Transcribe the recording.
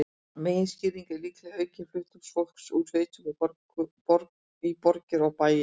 Meginskýringin er líklega aukinn flutningur fólks úr sveitum í borgir og bæi.